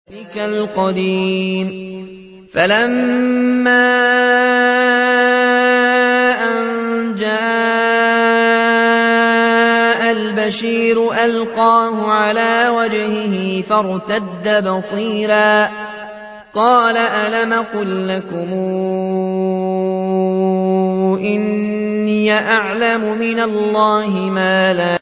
فَلَمَّا أَن جَاءَ الْبَشِيرُ أَلْقَاهُ عَلَىٰ وَجْهِهِ فَارْتَدَّ بَصِيرًا ۖ قَالَ أَلَمْ أَقُل لَّكُمْ إِنِّي أَعْلَمُ مِنَ اللَّهِ مَا لَا تَعْلَمُونَ